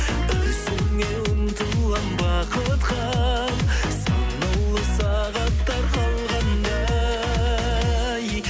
үзілмей ұмтылам бақытқа санаулы сағаттар қалғандай